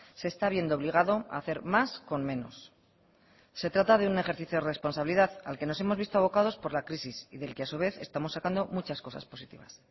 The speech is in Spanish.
se está viendo obligado a hacer más con menos se trata de un ejercicio de responsabilidad al que nos hemos visto abocados por la crisis y del que a su vez estamos sacando muchas cosas positivas